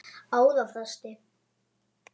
ára fresti.